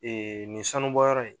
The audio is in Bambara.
Ee nin sanubɔyɔrɔ in